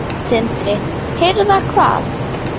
Sindri: Hirða hvað?